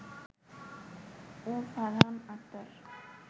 ও Farhan Akhtar